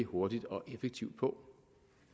hurtigt og effektivt på